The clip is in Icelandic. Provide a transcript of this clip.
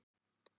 á léttum nótum.